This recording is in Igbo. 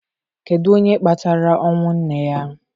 Kedu onye kpatara ọnwụ nne ya?